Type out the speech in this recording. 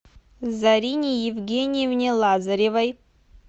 зарине евгеньевне лазаревой